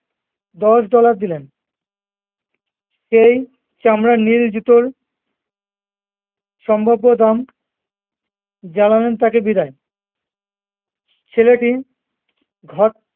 দশ ডলার দিলেন সেই চামড়ার নীল জুতোর সম্ভাব্য দাম, জানালেন তাকে বিদায় ছেলেটি ঘর